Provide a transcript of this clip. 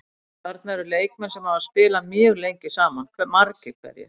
Þarna eru leikmenn sem hafa spilað mjög lengi saman margir hverjir.